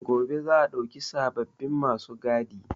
Gobe za a ɗauki sababbin ma su gadi.